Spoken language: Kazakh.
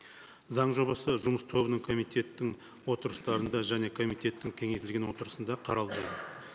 заң жобасы жұмыс тобының комитеттің отырыстарында және комитеттің кеңейтілген отырысында қаралды